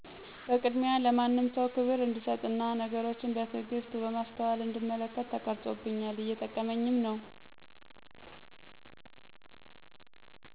በቅድሚያ ለማንም ሰው ከብር እንድሰጥና ነገሮችን በትግስት በማሰተዋል እንድመለከት ተቀረፆብኛል እየጠቀመኝም ነው።